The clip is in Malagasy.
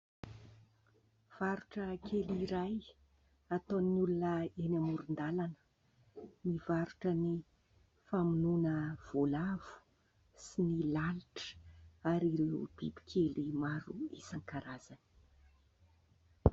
Varotra kely iray, ataon'olona eny amoron-dalana. Mivarotra ny famonoana voalavo sy ny lalitra ary ireo biby kely maro isan-karazany.